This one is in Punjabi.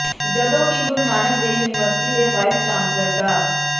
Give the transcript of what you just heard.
ਜਦੋਂ ਕਿ ਗੁਰੂ ਨਾਨਕ ਦੇਵ ਯੂਨੀਵਰਸਿਟੀ ਦੇ ਵਾਈਸ ਚਾਂਸਲਰ ਡਾ